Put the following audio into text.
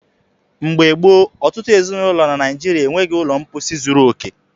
Mgbe gboo, ọtụtụ ezinụlọ na Naijiria e nweghị ụlọ mposi zuru okè.